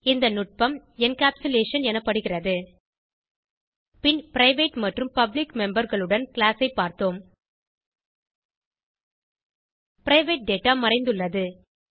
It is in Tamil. இந்த நுட்பம் என்கேப்சுலேஷன் எனப்படுகிறது பின் பிரைவேட் மற்றும் பப்ளிக் memberகளுடன் கிளாஸ் ஐ பார்த்தோம் பிரைவேட் டேட்டா மறைந்துள்ளது